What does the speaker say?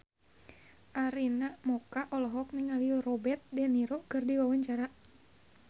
Arina Mocca olohok ningali Robert de Niro keur diwawancara